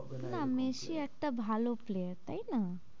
না, মেসি একটা ভালো player তাই না?